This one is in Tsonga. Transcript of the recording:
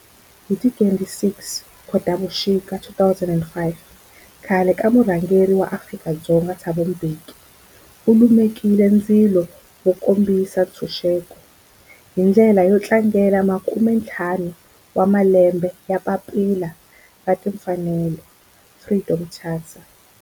Hi ti 26 Khotavuxika 2005 khale ka murhangeri wa Afrika-Dzonga Thabo Mbeki u lumekile ndzilo wo kombisa ntshuxeko, hi ndlela yo tlangela makumentlhanu wa malembe ya papila ra timfanelo, Freedom Charter.